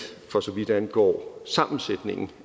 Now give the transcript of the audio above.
for så vidt angår sammensætningen